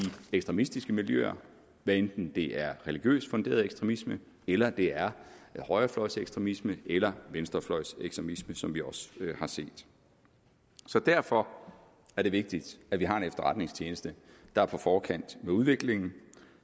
ekstremistiske miljøer hvad enten det er religiøst funderet ekstremisme eller det er højrefløjsekstremisme eller venstrefløjsekstremisme som vi også har set så derfor er det vigtigt at vi har en efterretningstjeneste der er på forkant med udviklingen